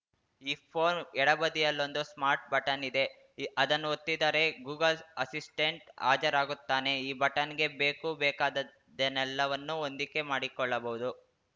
ಈ ಫೋನ್‌ ಎಡಬದಿಯಲ್ಲೊಂದು smart button ಇದೆ ಅದನ್ನು ಒತ್ತಿದರೆ ಗೂಗಲ್‌ ಅಸಿಸ್ಟೆಂಟ್‌ ಹಾಜರಾಗುತ್ತಾನೆ ಈ ಬಟನ್‌ಗೆ ಬೇಕುಬೇಕಾದ್ದೆಲ್ಲವನ್ನೂ ಹೊಂದಿಕೆ ಮಾಡಿಕೊಳ್ಳಬಹುದು